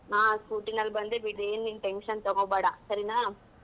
ಹಾ scooty ನಲ್ಲಿ ಬಂದೆ, ಏನ್ ನೀನ್ tension ತಗೋಬೇಡ ಸರಿನಾ.